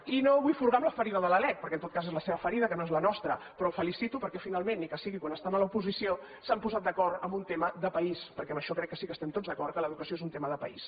i no vull furgar en la ferida de la lec perquè en tot cas és la seva ferida que no és la nostra però el felicito perquè finalment ni que sigui quan estan a l’oposició s’han posat d’acord en un tema de país perquè en això crec que sí que estem tots d’acord que l’educació és un tema de país